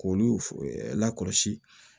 K'olu lakɔlɔsi